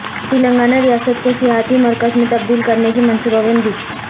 تلنگانہ ریاست کو سیاحتی مرکز میں تبدیل کرنے کی منصوبہ بندی